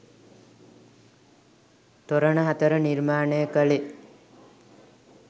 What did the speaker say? තොරණ හතර නිර්මාණය කෙළේ